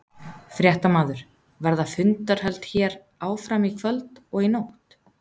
Fréttamaður: Verða fundarhöld hér áfram í kvöld og í nótt?